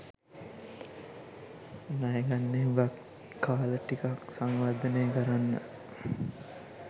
ණයගන්නේ හුඟක් කාල ටිකක් සංවර්ධනය කරන්න.